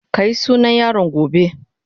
Ka yi sunan yaron gobe.